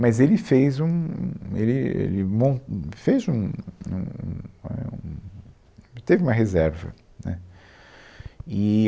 Mas ele fez um... ele ele mon, fez um a um, a um, teve uma reserva, né. Eee